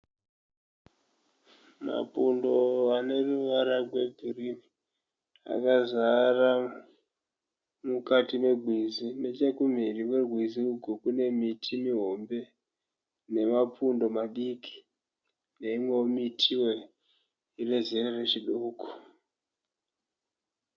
Mapundo aneruvara rwegirini akazara mukati megwizi nechekumhiri kwegwizi ugwu kune miti mihombe nemapundo madiki neimwewo miti inezera rechidoko.